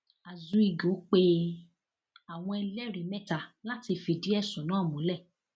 azuigo pe àwọn ẹlẹrìí mẹta láti fìdí ẹsùn náà múlẹ